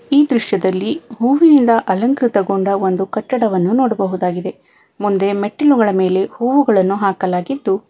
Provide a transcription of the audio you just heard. ಈ ದೃಶ್ಯದಲ್ಲಿ ಹೂವಿನಿಂದ ಅಲಂಕೃತಗೊಂಡ ಒಂದು ಕಟ್ಟಡವನ್ನು ನೋಡಬಹುದಾಗಿದೆ ಮುಂದೆ ಮೆಟ್ಟಿಲುಗಳ ಮೇಲೆ ಹೂವುಗಳನ್ನು ಹಾಕಲಾಗಿದ್ದು--